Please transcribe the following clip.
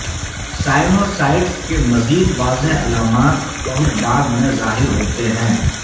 sinusitis کے مزید واضح علامات بہت بعد میں ظاہر ہوتے ہیں